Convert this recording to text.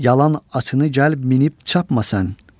Yalan atını gəlib minib çapmasan.